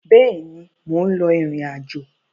Bẹ́ẹ̀ ni, mò ń lọ ìrìn-àjọ.